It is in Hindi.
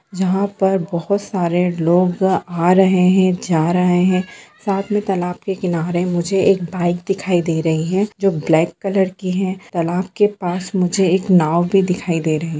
जहाँ पर बहुत सारे लोग आ रहे है जा रहे है साथ मे तालाब के किनारे मुजेह एक बाइक दिखाई दे रही है जो ब्लैक कलर कि है तालाब के पास मुजेह एक नाव भी दिखाई दे रही है।